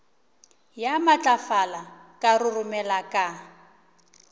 ya matlafala ka roromela ka